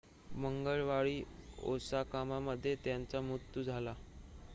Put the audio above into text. मंगळवारी ओसाकामध्ये त्यांचा मृत्यू झाला